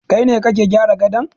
Kai ne kake gyara gadon